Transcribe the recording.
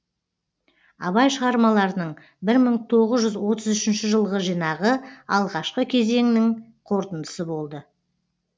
абай шығармаларының бір мың тоғыз жүз отыз үшінші жылғы жинағы алғашқы кезеңнің қорытындысы болды